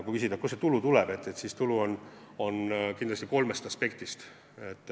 Kui küsida, kust see tulu tuleb, siis see tuleb kindlasti kolme teguri mõjul.